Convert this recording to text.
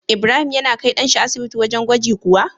Ibrahim yana kai dan shi asibiti wajan gwaji kuwa?